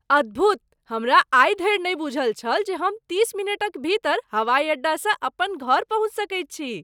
अद्भुत! हमरा आइ धरि नहि बूझल छल जे हम तीस मिनटक भीतर हवाई अड्डासँ अपन घर पहुँच सकैत छी।